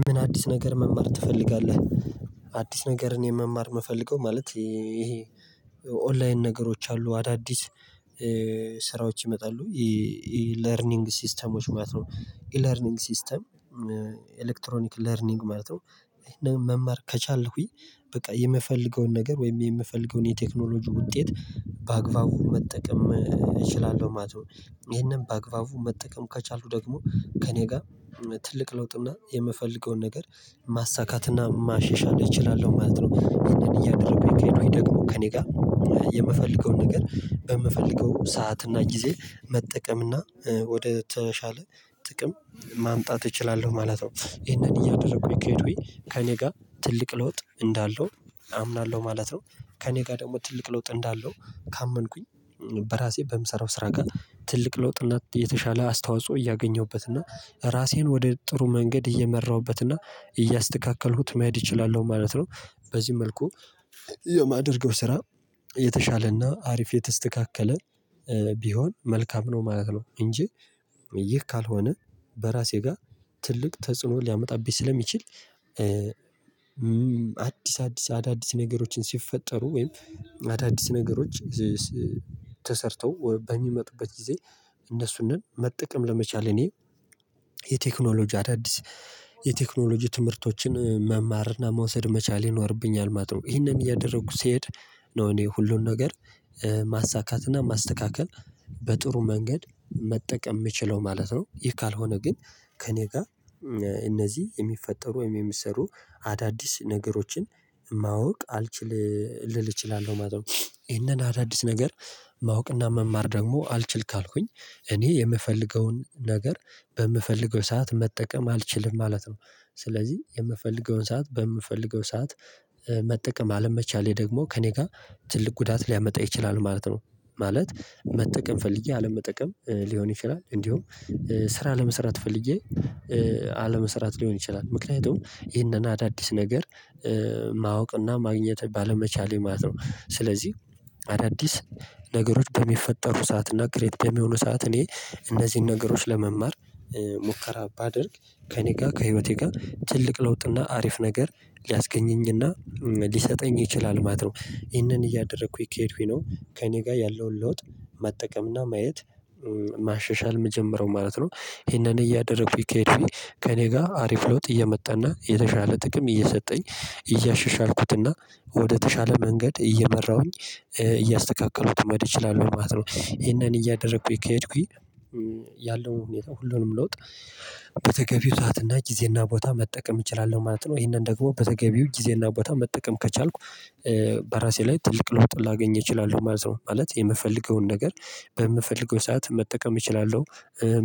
ምን አዲስ ነገር መማር ትፈልጋለህ? አዲስ ነገርን የመማር እምፈልገው ማለት ይሄ ኦንላይን ነገሮች አሉ አዳዲስ ስራዎች ይመጣሉ። ይሄ ለርኒንግ ሲስተሞች ማለት ነው ኢ ለርኒንግ ሲስተም ኤሌክትሮኒክ ለርኒንግ ማለት ነው። እና መማር ከቻልኩኝ በቃ የምፈልገውን ነገር ወይም የምፈልገውን የቴክኖሎጂ ውጤት በአግባቡ መጠቀም እችላለሁ ማለት ነው። ይሄንን በአግባቡ መጠቀም ከቻልኩ ደግሞ ከእኔ ጋር ትልቅ ለውጥ እና የምፈልገውን ነገር ማሳካት እና ማሸሻል እችላለሁ ማለት ነው። ይኸንን እያደረኩኝ ከሄዱኝ ደግሞ ከእኔ ጋር የምፈልገውን ነገር በምፈልገው ሰዓት እና ጊዜ መጠቀም እና ወደ ተሻለ ጥቅም ማምጣት እችላለሁ ማለት ነው። ይሄን እያደረኩኝ ከሄዱኝ ከእኔ ጋር ትልቅ ለውጥ እንዳለው አምናለሁ ማለት ነው። ከእኔ ጋር ደግሞ ትልቅ ለውጥ እንዳለው ካመንኩኝ በራሴ በምሰራው ስራ ጋር ትልቅ ለውጥና የተሻለ አስተዋጽኦ እያገኘሁበት እና ራሴን ወደ ጥሩ መንገድ እየመራሁበት እና እያስተካከልኩት መሄድ እችላለሁ ማለት ነው። በዚህ መልኩ የማደርገው ስራ የተሻለና አሪፍ የተስተካከለ ቢሆን መልካም ነው ማለት ነው። እንጂ ይህ ካልሆነ በራሴ ጋር ትልቅ ተጽዕኖ ሊያመጣብኝ ስለሚችል። አዲስ አዲስ አዳዲስ ነገሮችን ሲፈጠሩ ወይም አዳዲስ ነገሮች ተሰርተው በሚመጡበት ጊዜ እነሱንም መጠቀም ለመቻሌ እኔ የቴክኖሎጂ አዳዲስ የቴክኖሎጂ ትምህርቶችን መማርና መውሰድ መቻል ይኖርብኛል ማለት ነው። ይሄንን እያደረጉ ሲሄድ ነው እኔ ሁሉን ነገር ማሳካትና ማስተካከል በጥሩ መንገድ መጠቀም እምችለው ማለት ነው። ይህ ካልሆነ ግን ከእኔ ጋር እነዚህ የሚፈጠሩ ወይም የሚሰሩ አዳዲስ ነገሮችን ማወቅ አልችልም ልል እችላለሁ ማለት ነው። ይሄንን አዳዲስ ነገር ማወቅና መማር ደግሞ አልችል ካልኩኝ እኔ የምፈልገውን ነገር በምፈልገው ሰዓት መጠቀም አልችልም ማለት ነው። ስለዚህ የምፈልገውን ሰዓት በምፈልገው ሰዓት መጠቀም አለመቻሌ ደግሞ ከእኔ ጋር ትልቅ ጉዳት ሊያመጣ ይችላል ማለት ነው። ማለት መጠቀም ፈልጌ አለመጠቀም ሊሆን ይችላል እንዲሁም ስራ ለመስራት ፈልጌ አለመሰራት ሊሆን ይችላል ምክንያቱም ይሄንን አዳዲስ ነገር ማወቅና ማግኘት ባለመቻሌ ማለት ነው። ስለዚህ አዳዲስ ነገሮች በሚፈጠሩ ሰዓት እና ክሬድ በሚሆኑ ሰዓት እኔ እነዚህን ነገሮች ለመማር ሙከራ ባደርግ ከእኔ ጋር ከህይወቴ ጋር ትልቅ ለውጥና አሪፍ ነገር ሊያስገኘኝና ሊሰጠኝ ይችላል ማለት ነው። ይሄንን እያደረኩኝ ከሄድኩኝ ነው ከእኔ ጋር ያለውን ለውጥ መጠቀምና ማየት ማሸሻል እምጀምረው ማለት ነው። ይሄንን እያደረኩኝ ከሄደኩኝ ከእኔ ጋር አሪፍ ለውጥ እየመጣና የተሻለ ጥቅም እየሰጠኝ እያሸሻልኩትና ወደተሻለ መንገድ እየመራሁኝ እያስተካከሉት መሄድ እችላለው ማለት ነው። ይሄንን እያደረኩኝ ከሄድኩኝ ያለው ሁኔታው ሁሉንም ለውጥ በተገቢው ሰዓት እና ጊዜ እና ቦታ መጠቀም እችላለሁ ማለት ነው። ይሄንን ደግሞ በተገቢው ጊዜና ቦታ መጠቀም ከቻልኩ በራሴ ላይ ትልቅ ለውጥ ላገኝ እችላለሁ ማለት ነው። ማለት የምፈልገውን ነገር በምፈልገው ሰዓት መጠቀም እችላለሁ